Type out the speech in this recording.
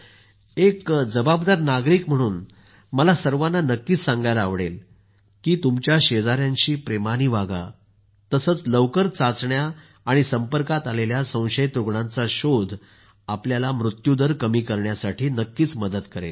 एक जवाबदार नागरिक म्हणून मला सर्वांना नक्कीच सांगयला आवडेल की तुमच्या शेजाऱ्यांशी प्रेमाने वागा तसंच लवकर चाचण्या आणि संपर्कात आलेल्या संशयित रुग्णांचा शोध आपल्याला मृत्यू दर कमी करण्यात नक्कीच मदत करेल